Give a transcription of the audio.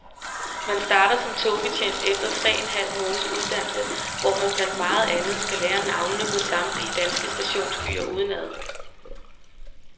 Man starter som togbetjent efter tre en halv måneds uddannelse, hvor man blandt meget andet skal lære navnene på samtlige danske stationsbyer udenad.